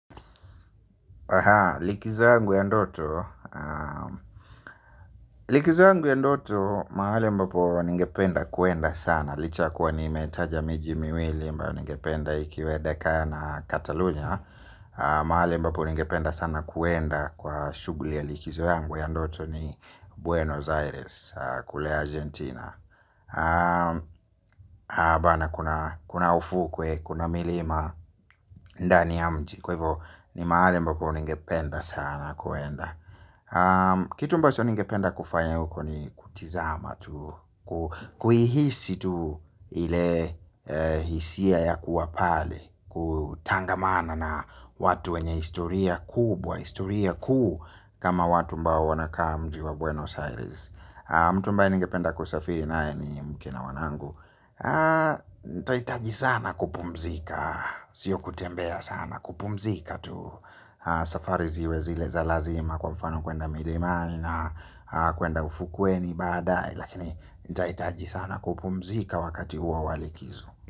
Likizo yangu ya ndoto mahali mbapo ningependa kwenda sana licha kwa nimetaja miji miwili mbayo ningependa ikiwa dekaya na katalunya. Mahali mbapo ningependa sana kwenda kwa shughuli ya likizo yangu ya ndoto ni Buenos Aires kule Argentina. Kuna ufukuwe, kuna milima, ndani ya mji. Kwa hivyo ni mahali mbapo ningependa sana kwenda. Kitu mbacho ningependa kufaya huko ni kutizama. Kuihisi tu ile hisia ya kua pale, kutangamana na watu wenye historia kubwa. Historia kuu kama watu ambao wanakaa mji wa Buenos Aires. Mutu ambaye ningependa kusafiri naye ni mke na wanangu. Tahitaji sana kupumzika. Sio kutembea sana. Kupumzika tu safari ziwe zile za lazima kwa mfano kwenda milimani na kwenda ufukuweni baadae lakini nitahitaji sana kupumzika wakati huo wa likizo.